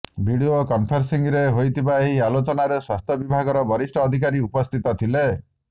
video କନ୍ଫେରେସିଂରେ ହୋଇଥିବା ଏହି ଆଲୋଚନାରେ ସ୍ୱାସ୍ଥ୍ୟ ବିଭାଗର ବରିଷ୍ଠ ଅଧିକାରୀ ଉପସ୍ଥିତ ଥିଲେ